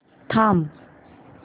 थांब